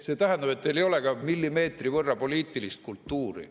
See tähendab, et teil ei ole ka millimeetri võrra poliitilist kultuuri.